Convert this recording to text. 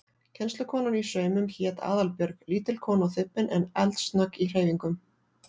Kennslukonan í saumum hét Aðalbjörg, lítil kona og þybbin en eldsnögg í hreyfingum.